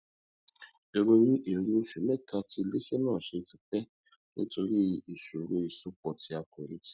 ìròyìn èrè oṣù mẹta tí iléiṣẹ náà ṣe ti pẹ nítorí ìṣòro ìsopọ tí a kò retí